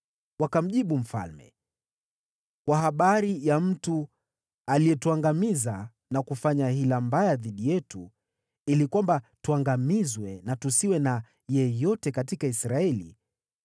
Wakamjibu mfalme, “Kwa habari ya mtu aliyetuangamiza na kufanya hila mbaya dhidi yetu ili kwamba tuangamizwe na tusiwe na yeyote katika Israeli,